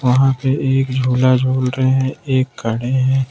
वहां पे एक झूला झूल रहे हैं एक खड़े हैं।